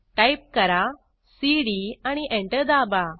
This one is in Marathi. टाईप करा सीडी आणि एंटर दाबा